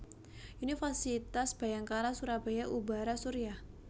Universitas Bhayangkara Surabaya Ubhara Surya